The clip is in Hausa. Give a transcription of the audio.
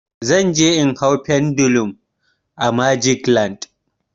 Zan je in hau pendulum a magic land.